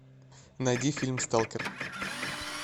найди фильм сталкер